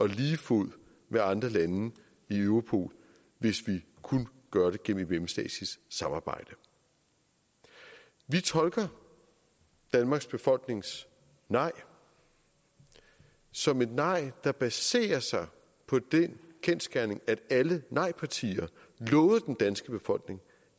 lige fod med andre lande i europol hvis vi kun gør det gennem et mellemstatsligt samarbejde vi tolker danmarks befolknings nej som et nej der baserer sig på den kendsgerning at alle nejpartier lovede den danske befolkning